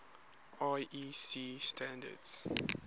iec standards